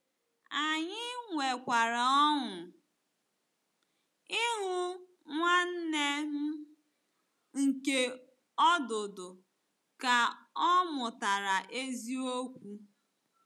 Anyị nwekwara ọṅụ ịhụ nwanne m nke ọdụdụ ka ọ mụtara eziokwu.